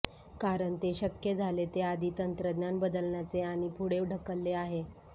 कारण ते शक्य झाले ते आधी तंत्रज्ञान बदलण्याचे आणि पुढे ढकलले आहे